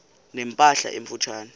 ne mpahla emfutshane